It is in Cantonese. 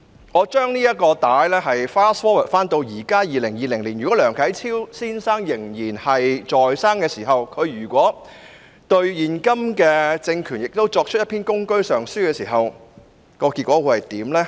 我把時間 fast forward 至現今2020年，如果梁啟超先生仍然在生的話，而他對現今政權亦作出一篇《公車上書》時，結果會如何呢？